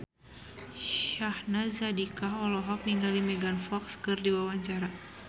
Syahnaz Sadiqah olohok ningali Megan Fox keur diwawancara